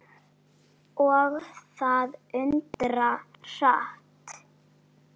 Og það undra hratt.